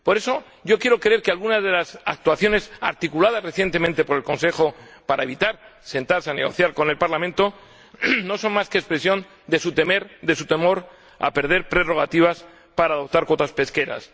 Por eso yo quiero creer que algunas de las actuaciones articuladas recientemente por el Consejo para evitar sentarse a negociar con el Parlamento no son más que expresión de su temor a perder prerrogativas para adoptar cuotas pesqueras.